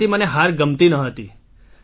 તેથી મને હાર ગમતી ન હતી